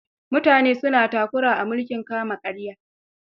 Mutane suna takura a mulkin kama-karya.